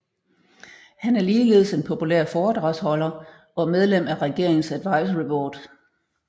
Han er ligeledes en populær foredragsholder og medlem af regeringens advisory board